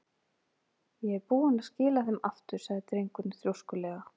Ég er búinn að skila þeim aftur- sagði drengurinn þrjóskulega.